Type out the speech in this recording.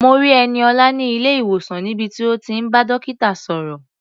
Mo rí Ẹniọlá ní ilé-ìwòsàn níbi tí ó ti ń bá dókítà sọ̀rọ̀.